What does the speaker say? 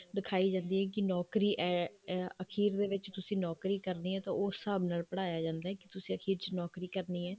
ਦਿਖਾਈ ਜਾਂਦੀ ਹੈ ਕੀ ਨੋਕਰੀ ਅਖੀਰ ਦੇ ਵਿੱਚ ਤੁਸੀਂ ਨੋਕਰੀ ਕਰਨੀ ਹੈ ਤਾਂ ਉਸ ਹਿਸਾਬ ਨਾਲ ਪੜਾਇਆ ਜਾਂਦਾ ਕੇ ਤੁਸੀਂ ਅਖੀਰ ਚ ਨੋਕਰੀ ਕਰਨੀ ਹੈ